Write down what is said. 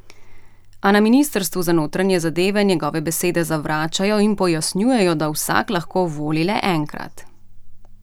A na ministrstvu za notranje zadeve njegove besede zavračajo in pojasnjujejo, da vsak lahko voli le enkrat.